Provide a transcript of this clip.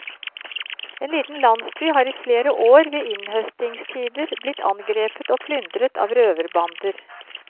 En liten landsby har i flere år ved innhøstingstider blitt angrepet og plyndret av røverbander.